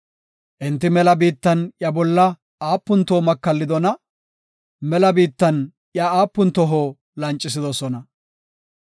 Enti mela biittan iya bolla aapun toho makallidona! Mela biittan iya aapun toho lancisidonaa!